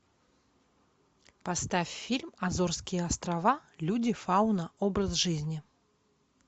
поставь фильм азорские острова люди фауна образ жизни